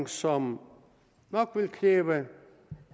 som nok vil kræve